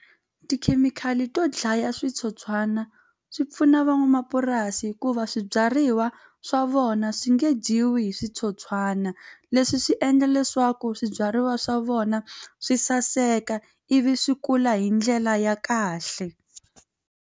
Tikhemikhali to dlaya switsotswana swi pfuna van'wamapurasi hikuva swibyariwa swa vona swi nge dyiwi hi switsotswana leswi swi endla leswaku swibyariwa swa vona swi saseka ivi swi kula hi ndlela ya kahle.